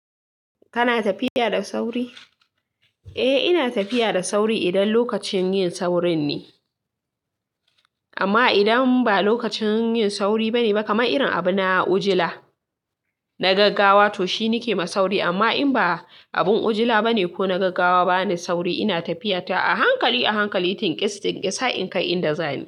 Kana tafiya da sauri? Eh ina tafiya da sauri idan lokacin yin saurin ne. Amma idan ba lokacin yin sauri bane, kamar irin abu na ujila, na gaggawa to shi ni ke ma sauri. Amma in ba abun ujila bane ko na gaggawa bane sauri, ina tafiya ta a hankali, a hankali, tinkis tinkisa in kai inda za ni.